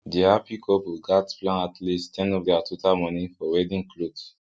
the happy couple gats plan at least ten of their total money for wedding cloth